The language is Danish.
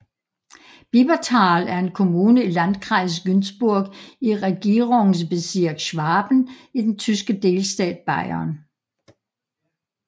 Bibertal er en kommune i Landkreis Günzburg i Regierungsbezirk Schwaben i den tyske delstat Bayern